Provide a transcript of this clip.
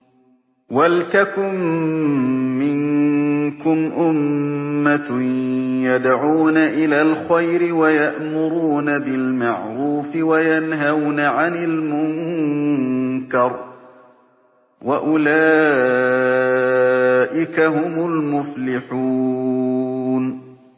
وَلْتَكُن مِّنكُمْ أُمَّةٌ يَدْعُونَ إِلَى الْخَيْرِ وَيَأْمُرُونَ بِالْمَعْرُوفِ وَيَنْهَوْنَ عَنِ الْمُنكَرِ ۚ وَأُولَٰئِكَ هُمُ الْمُفْلِحُونَ